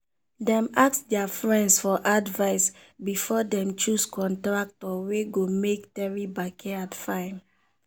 dem ask their friends for advice before dem choose contractor wey go make theri backyard fine.